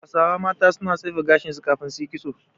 Hausawa mata suna tsefe gashin su kafin su yi kitso.